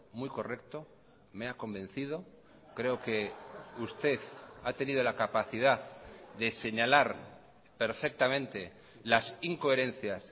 muy correcto me ha convencido creo que usted ha tenido la capacidad de señalar perfectamente las incoherencias